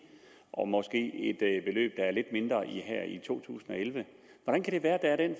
og måske er lidt mindre her i to tusind og elleve hvordan kan det være at der